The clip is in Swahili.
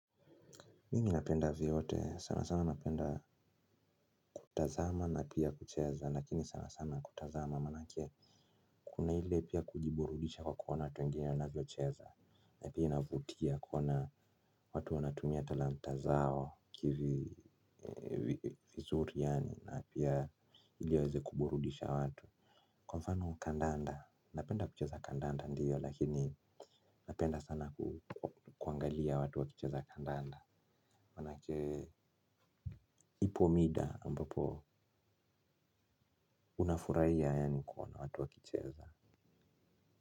Mimi napenda vyote sana sana napenda kutazama na pia kucheza lakini sana sana kutazama manake kuna ile pia kujiburudisha kwa kuona watu wengine wanavyocheza na pia inavutia kuona watu wanatumia talanta zao kivi vizuri yaani na pia ili waeze kuburudisha watu kwa mfano kandanda napenda kucheza kandanda ndiyo lakini napenda sana kuangalia watu wakicheza kandanda manake ipo mida ambapo unafurahia yani kuona watu wakicheza.